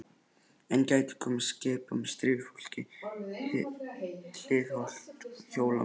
Enn gætu komið skip af hafi með stríðsfólk hliðhollt Hólamönnum.